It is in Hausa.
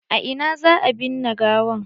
A ina za a binne gawan?